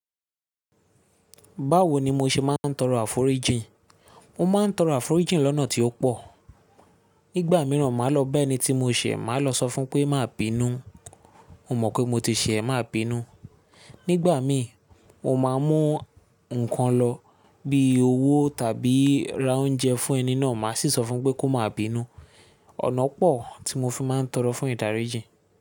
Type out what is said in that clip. Báwo ni mo ṣe máa ń tọrọ àforíji? Mo máa ń tọrọ àforíjì lọ́nà tí ó pọ̀. Nígbà mìíràn, máa lọ bá ẹni tí mo ṣẹ̀ máa lọ sọ fún pé máa bínú, mo mọ̀ pé mo ti ṣẹ̀, máa bínú. Nígbà mí, mo máa mú nǹkan lọ bí i owó tàbí ra oúnjẹ fún ẹni náà, màá sì sọ fún pé kó máa bínú. Ọ̀nà pọ̀ tí mo fi máa ń tọrọ fún ìdáríjì.